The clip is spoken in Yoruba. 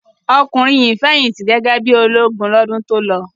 Ọkùnrin yìí fẹ̀yìntì gẹ́gẹ́ bí i ológun lọ́dún tó lọ.